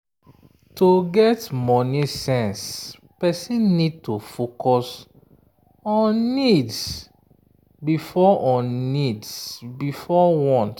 to get money sense person need to focus on needs before on needs before wants.